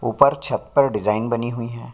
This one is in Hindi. ऊपर छत पर डिज़ाइन बनी हुई है।